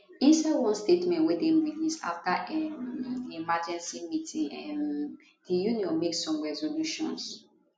inside one statement wey dem release afta um di emergency meeting um di union make some resolutions